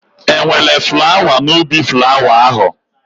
E nwere flawa n'ubi flawa ahụ?